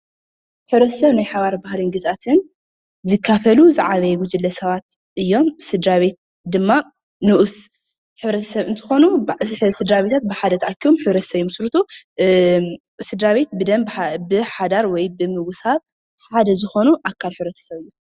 ሕብረተሰብ ናይ ሓባር ባህልን ግዝኣትን ዝካፈሉ ዝዓበየ ጉጅለ ሰባት እዮም፡፡ ስድራቤት ድማ ንኡስ ሕብረተሰብ እንትኾኑ ስድራቤት ብሓደ ተኣኪቦም ሕብረተሰብ ይምስርቱ እ ስድራቤት ብደም ብሓዳር ወይ ብምውሳብ ሓደ ዝኾኑ ኣካል ሕብረተሰብ እዮም፡፡